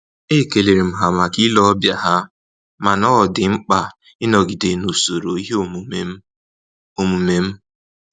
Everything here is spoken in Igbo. E kelerem ha maka ile ọbịa ha, mana ọ dị mkpa ịnọgide na-usoro ihe omume m omume m